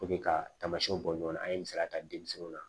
ka taamasiyɛnw bɔ ɲɔgɔnna an ye misaliya ta denmisɛnninw na